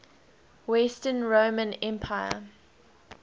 western roman empire